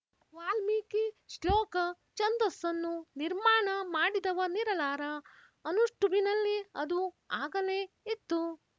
ವಾಲ್ಮೀಕಿ ಶ್ಲೋಕ ಛಂದಸ್ಸನ್ನು ನಿರ್ಮಾಣ ಮಾಡಿದವನಿರಲಾರ ಅನುಷ್ಟುಭಿನಲ್ಲಿ ಅದು ಆಗಲೇ ಇತ್ತು